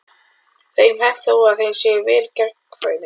Þeim er hent þó að þeir séu vel gangfærir.